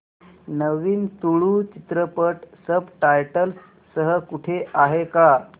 नवीन तुळू चित्रपट subtitles सह कुठे आहे का